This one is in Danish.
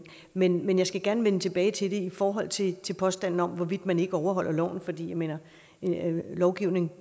men men jeg skal gerne vende tilbage til det i forhold til til påstanden om hvorvidt man ikke overholder loven fordi jeg mener at lovgivningen